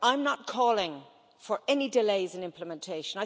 I'm not calling for any delays in implementation.